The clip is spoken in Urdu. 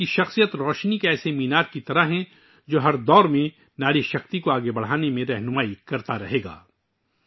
ان کی شخصیت مینارۂ نور کی مانند ہے، جو ہر دور میں خواتین کی طاقت کو مزید آگے بڑھانے کا راستہ دکھاتی رہے گی